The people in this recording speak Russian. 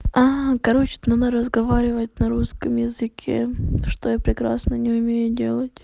а короче там она разговаривает на русском языке что я прекрасно не умею делать